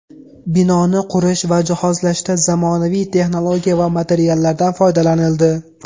Binoni qurish va jihozlashda zamonaviy texnologiya va materiallardan foydalanildi.